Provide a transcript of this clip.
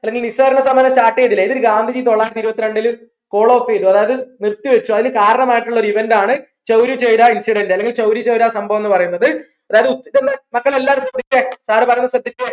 അല്ലെങ്കിൽ നിസ്സാര സമരം start ചെയ്തില്ലേ ഇതിൽ ഗാന്ധിജി തൊള്ളായിരത്തി ഇരുപ്പത്തിരണ്ടിൽ follow up ചെയ്തു അതായത് അതിന് കാരണമായിട്ടുള്ള ഒരു event ആണ് ചൗരി ചൗര incident അല്ലെങ്കിൽ ചൗരി ചൗര സംഭവം എന്ന് പറയുന്നത് അതായത് ഉത്തർ മക്കളെ എല്ലാവരും ശ്രദ്ധിച്ചെ sir പറയുന്നത് ശ്രദ്ധിച്ചെ